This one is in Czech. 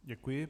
Děkuji.